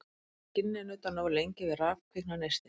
Ef skinni er nuddað nógu lengi við raf kviknar neisti.